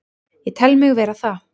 Ég tel mig vera það.